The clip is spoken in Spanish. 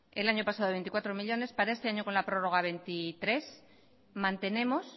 el año pasado veinticuatro millónes para este año con la prórroga veintitrés mantenemos